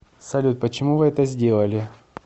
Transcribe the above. салют почему вы это сделали